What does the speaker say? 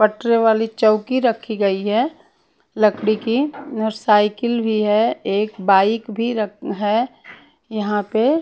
पटरे वाली चौकी रखी गई है लकड़ी की और साइकिल भी है एक बाइक भी रख है यहां पे।